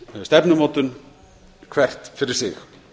langtímastefnumótun hvert fyrir sig